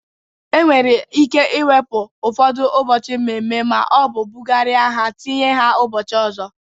E nwere ike iwepu ụfọdụ ụbọchị mmemme maọbụ bụgarịa ha tinye ha ụbọchị ọzọ.